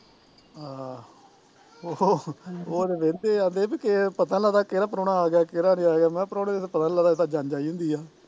ਆਹੋ ਉਹ ਉਹ ਤੇ ਵਹਦੇ ਜਾਂਦੇ ਸੀ ਵੀ ਪਤਾ ਨੀ ਲੱਗਦਾ ਕਿਹੜਾ ਪਰਾਉਣਾ ਆਗਿਆ ਕਿਹੜਾ ਨਹੀਂ ਆ ਗਿਆ ਮੈਂ ਕਿਹਾ ਪਰਉਣੇ ਦਾ ਤਾਂ ਪਤਾ ਨੀ ਲਗ਼ਦਾ ਇੱਥੇ ਤਾਂ ਜੰਜ ਆਈ ਹੁੰਦੀ ਆ